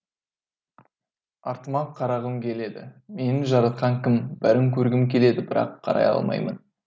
артыма қарағым келеді мені жаратқан кім бәрін көргім келеді бірақ қарай алмаймын